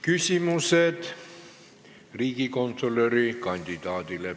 Küsimused riigikontrolöri kandidaadile.